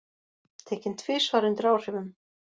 Tekinn tvisvar undir áhrifum